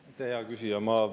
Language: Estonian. Aitäh, hea küsija!